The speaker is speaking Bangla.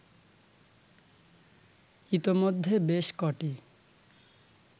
ইতোমধ্যে বেশ কটি